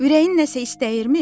Ürəyin nəsə istəyirmi?